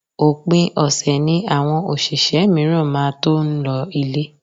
Òpin ọ̀sẹ̀ ni àwọn òṣìṣẹ́ mìíràn máa tó ń lọ ile